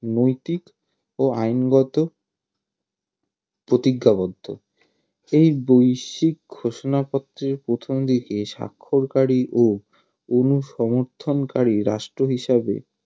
নৈতিক ও আইনগত প্রতিজ্ঞাবদ্ধ এই বৈশ্বিক ঘোষনাপত্রের প্রথমদিকে স্বাক্ষরকারী ও রাষ্ট্র হিসাবে